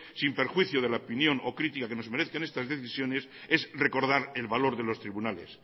sin perjuicio de la opinión o crítica que nos merezcan estas decisiones es recodar el valor de los tribunales